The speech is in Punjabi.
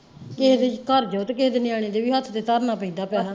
ਕਿਸੇ ਦੇ ਘਰ ਜਾਓ ਤੇ ਕਿਸੇ ਦੇ ਨਿਆਣੇ ਦੇ ਵੀ ਹੱਥ ਤੇ ਧਰਨਾ ਪੈਂਦਾ ਪੈਸੇ।